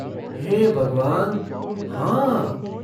हे भगवान, हाँ!